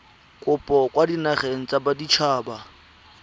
kopo kwa dinageng tsa baditshaba